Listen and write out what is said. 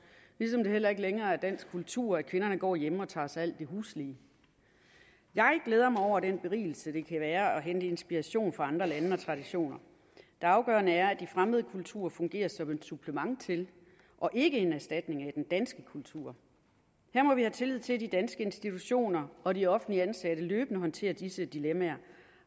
ligesom det heller ikke længere er dansk kultur at kvinderne går hjemme og tager sig af alt det huslige jeg glæder mig over den berigelse det kan være at hente inspiration fra andre lande og traditioner det afgørende er at de fremmede kulturer fungerer som et supplement til og ikke en erstatning af den danske kultur her må vi have tillid til at de danske institutioner og de offentligt ansatte løbende håndterer disse dilemmaer